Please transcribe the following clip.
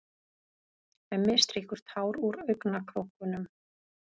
Hemmi strýkur tár úr augnakrókunum.